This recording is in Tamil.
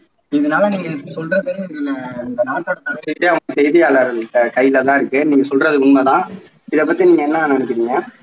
இதுனால நீங்க எனக்கு சொல்றது ஆஹ் இந்த நாட்டோட தலையெழுத்தே அவுங்க செய்தியாளர்கள்ட கைல தான் இருக்கு நீங்க சொல்றது உண்மை தான் இதை பத்தி நீங்க என்ன நினைக்கிறீங்க